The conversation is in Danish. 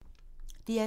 DR2